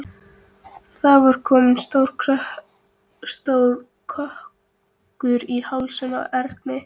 Það var kominn stór kökkur í hálsinn á Erni.